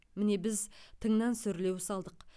міне біз тыңнан сүрлеу салдық